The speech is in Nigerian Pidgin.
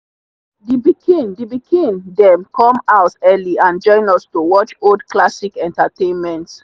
the pikin the pikin them come home early and join us to watch old classic entertainment.